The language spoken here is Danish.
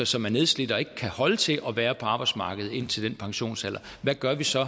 som er nedslidte og ikke kan holde til at være på arbejdsmarkedet indtil den pensionsalder hvad gør vi så